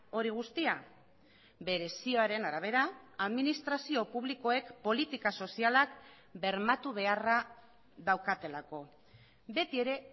hori guztia bere zioaren arabera administrazio publikoek politika sozialak bermatu beharra daukatelako beti ere